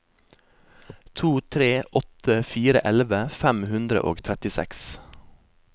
to tre åtte fire elleve fem hundre og trettiseks